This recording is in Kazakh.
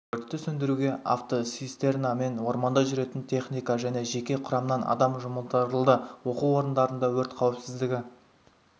өртті сөндіруге автоцистерна мен орманда жүретін техника және жеке құрамнан адам жұмылдырылды оқу орындарында өрт қауіпсіздігі